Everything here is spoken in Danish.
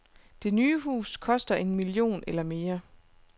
Det nye hus koster en million eller mere.